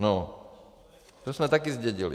No, to jsme taky zdědili.